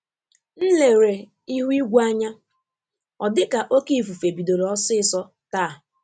M lere ihu igwe anya, ọ dị ka oké ifufe bidoro osiso taa